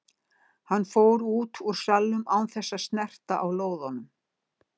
Hann fór út úr salnum án þess að snerta á lóðunum.